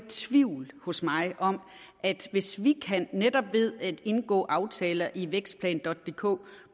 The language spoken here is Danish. tvivl hos mig om at hvis vi netop ved at indgå aftaler i vækstplan dk